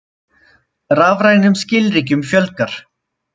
Rafrænum skilríkjum fjölgar